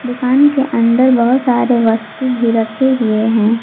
दुकान के अंदर बहुत सारे वस्तु भी रखे हुए हैं।